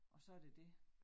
Og så det det